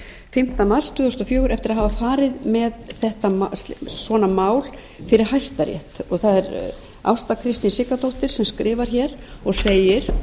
fimmta mars tvö þúsund og fjögur eftir að hafa farið með svona mál fyrir hæstarétt það er ásta kristín siggadóttir sem skrifar hér og segir